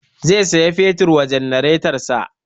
Zai sayi fetur wa janaretansa